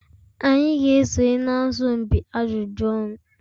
Anyị ga-esonye na asọmpi ajụjụ ọnụ.